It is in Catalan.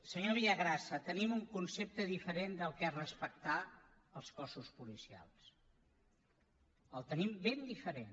senyor villagrasa tenim un concepte diferent del que és respectar els cossos policials el tenim ben diferent